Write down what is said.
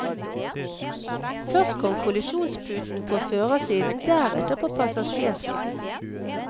Først kom kollisjonsputen på førersiden, deretter på passasjersiden.